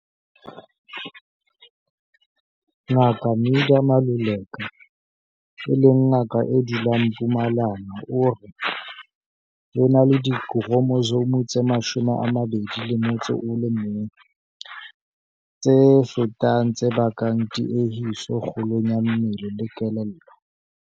Ngaka Midah Maluleka, e leng ngaka e dulang Mpumalanga o re, "Ho na le dikhromosome tse 21, Trisomi 21, tse fetang tse bakang tiehiso kgolong ya mmele le kelello."